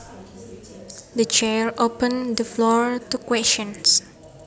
The chair opened the floor to questions